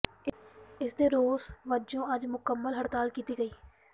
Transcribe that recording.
ਇਸ ਦੇ ਰੋਸ ਵਜੋਂ ਅੱਜ ਮੁਕੰਮਲ ਹੜਤਾਲ ਕੀਤੀ ਗਈ